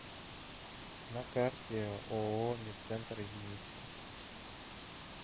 на карте ооо медцентр единица